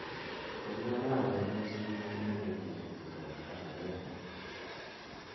au arawet neisubi netimye betusiek sosom ak agenge